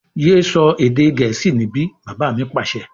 Yé sọ èdè gẹ̀ẹ́sì níbí! Bàbá mi Pàṣẹ.